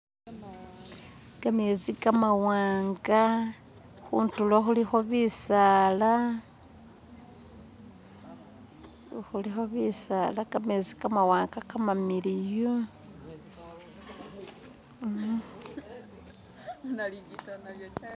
kamezi kamawanga huntulo huliho bisaala huliho bisaala kamesi kamamiliyu